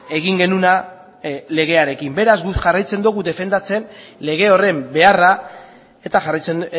egin genuena legearekin beraz guk jarraitzen dugu defendatzen lege horren beharra eta jarraitzen